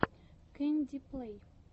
кэнди плэй